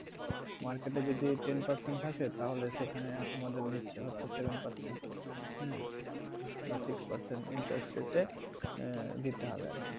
Market এ যদি ten percent থাকে তাহলে সেখানে আমাদের নিচ্ছে হচ্ছে seven percent হ্যাঁ বা six percent interest rate এ আহ দিতে হবে আর কি,